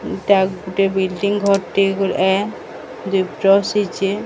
ଏଟା ଗୋଟେ ବିଲ୍ଡିଙ୍ଗ୍ ଘରଟେ ବୋଲେଁ ଦୁଇ ପ୍ରସିଚେ।